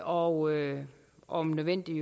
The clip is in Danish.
og om nødvendigt